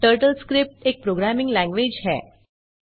TurtleScript एक programming language है